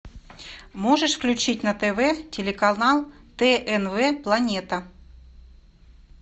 можешь включить на тв телеканал тнв планета